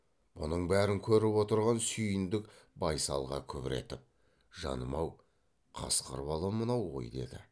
бұның бәрін көріп отырған сүйіндік байсалға күбір етіп жаным ау қасқыр бала мынау ғой деді